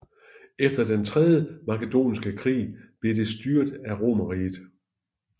Efter den tredje makedonske krig blev det styret af Romerriget